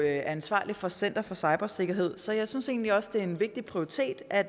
ansvarlig for center for cybersikkerhed så jeg synes egentlig også det er en vigtig prioritet at